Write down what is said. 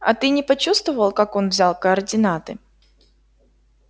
а ты не почувствовал как он взял координаты